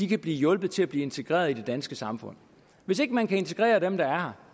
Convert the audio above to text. kan blive hjulpet til at blive integreret i det danske samfund hvis ikke man kan integrere dem der er